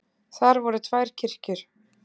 Þar voru tvær kirkjur.